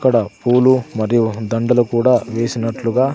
ఇక్కడ పూలు మరియు దండలు కూడా వేసినట్లుగా.